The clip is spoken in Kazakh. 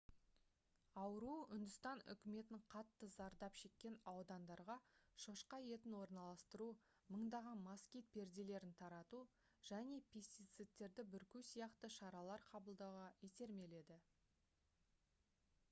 ауру үндістан үкіметін қатты зардап шеккен аудандарға шошқа етін орналастыру мыңдаған москит перделерін тарату және пестицидтерді бүрку сияқты шаралар қабылдауға итермеледі